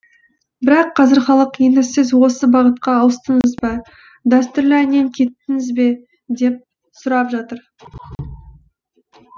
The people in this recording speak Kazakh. бірақ қазір халық енді сіз осы бағытқа ауыстыңыз ба дәстүрлі әннен кеттіңіз бе деп сұрап жатыр